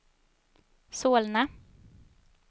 Solna